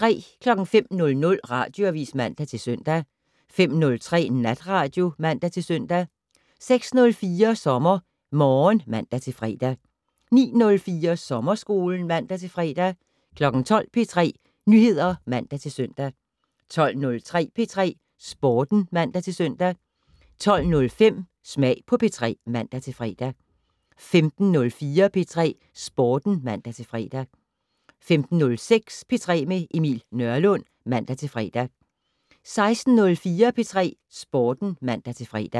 05:00: Radioavis (man-søn) 05:03: Natradio (man-søn) 06:04: SommerMorgen (man-fre) 09:04: Sommerskolen (man-fre) 12:00: P3 Nyheder (man-søn) 12:03: P3 Sporten (man-søn) 12:05: Smag på P3 (man-fre) 15:04: P3 Sporten (man-fre) 15:06: P3 med Emil Nørlund (man-fre) 16:04: P3 Sporten (man-fre)